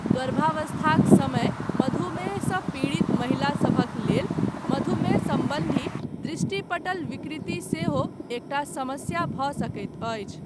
गर्भावस्थाक समय मधुमेहसँ पीड़ित महिला सभक लेल मधुमेह सम्बन्धी दृष्टिपटल विकृति सेहो एकटा समस्या भऽ सकैत अछि।